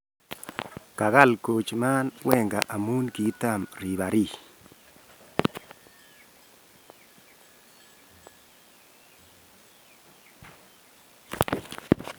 kagal Koeman Wenger amun kaitam rebarree